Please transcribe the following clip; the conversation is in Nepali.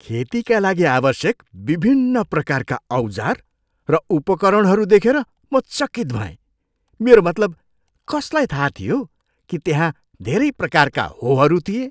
खेतीका लागि आवश्यक विभिन्न प्रकारका औजार र उपकरणहरू देखेर म चकित भएँ। मेरो मतलब, कसलाई थाहा थियो कि त्यहाँ धेरै प्रकारका होहरू थिए?